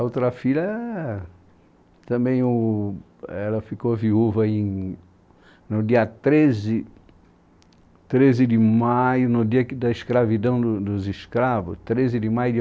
A outra filha também o, ela ficou viúva no dia treze, treze de maio, no dia que da escravidão do dos escravos, treze de maio de